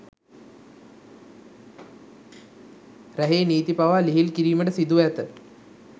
රැහේ නීති පවා ලිහිල් කිරීමට සිදුව ඇත